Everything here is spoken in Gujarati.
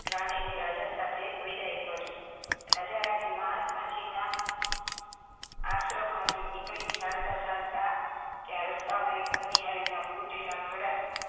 રાની ની રાજા સાથે વિદાય કરી રાજા રાની મહાત્મા જી ના આશ્રમ થી નીકળી ચાલતા ચલતા ત્યાં રસ્તા એક પાણી હરિના તૂટેલા ધડા